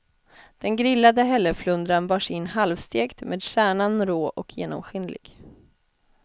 Den grillade hälleflundran bars in halvstekt, med kärnan rå och genomskinlig.